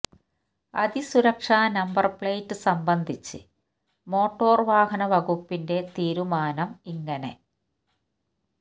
അതിസുരക്ഷാ number plate സംബന്ധിച്ച് motor വാഹന വകുപ്പിന്റെ തീരുമാനം ഇങ്ങനെ